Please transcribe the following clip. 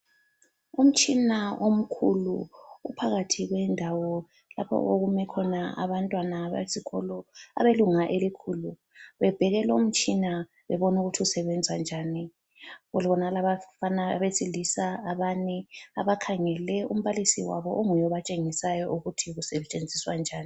Umtshina omkhulu uphakathi kwendawo lapho okume khona abantwana besikolo abelunga elikhulu bebheke lomtshina bebona ukuthi usebenza njani. Kubonakala abafana abesilisa abane abakhangele umbalisi wabo onguye obatshengisayo ukuthi usetshenziswa njani.